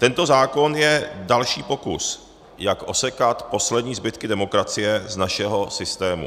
Tento zákon je další pokus, jak osekat poslední zbytky demokracie z našeho systému.